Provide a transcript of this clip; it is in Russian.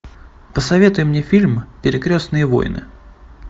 посоветуй мне фильм перекрестные войны